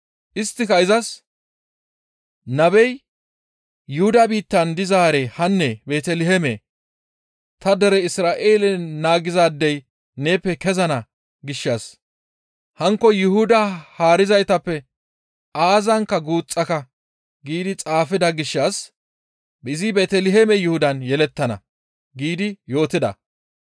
Isttika izas, «Nabey, ‹Yuhuda biittan dizaaree hanne Beeteliheemee! Ta dere Isra7eele naagizaadey neeppe kezana gishshas hankko Yuhuda haarizaytappe aazankka guuxxaka› giidi xaafida gishshas izi Beeteliheeme Yuhudan yelettana» giidi yootida.